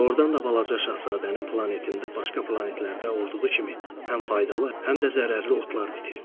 Doğrudan da balaca şahzadənin planetində başqa planetlərdə olduğu kimi həm faydalı, həm də zərərli otlar bitirdi.